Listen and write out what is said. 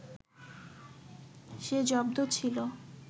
সে জব্দ ছিল